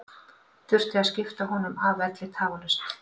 Þurfti að skipta honum af velli tafarlaust.